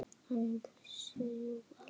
Hann vissi jú allt.